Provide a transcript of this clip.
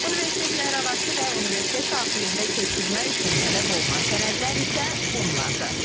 Universitetlərarası və universitet daxilində köçürmək üçün tələb olunan sənədlər isə bunlardır.